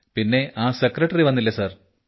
പിന്നെ ആ സെക്രട്ടറി വന്നില്ലേ സാർ